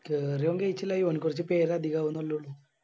കേറിയ കയിച്ചിലായി കൊറച്ച് പേര് അധികാവുന്നല്ലേ ഉള്ളു